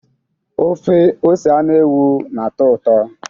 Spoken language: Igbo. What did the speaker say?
ọfe ose anụ ewu na-atọ ụtọ?